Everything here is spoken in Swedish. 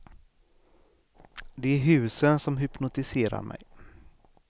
Det är husen som hypnotiserar mig.